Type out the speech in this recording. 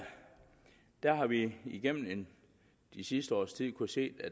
har vi igennem det sidste års tid kunnet se